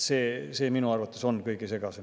See on minu arvates kõige segasem.